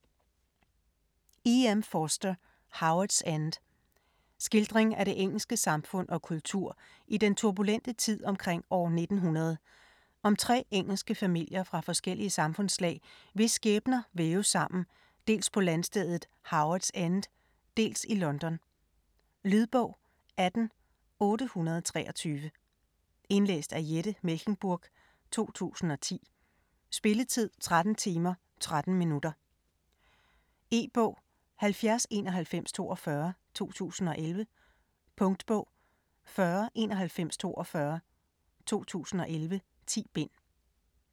Forster, E. M.: Howards End Skildring af det engelsk samfund og kultur i den turbulente tid omkring år 1900, om tre engelske familier fra forskellige samfundslag, hvis skæbner væves sammen, dels på landstedet Howards End, dels i London. Lydbog 18823 Indlæst af Jette Mechlenburg, 2010. Spilletid: 13 timer, 13 minutter. E-bog 709142 2011. Punktbog 409142 2011. 10 bind.